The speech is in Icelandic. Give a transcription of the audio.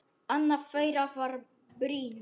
Annað þeirra var Brynja.